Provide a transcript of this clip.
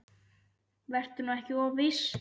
Vertu nú ekki of viss.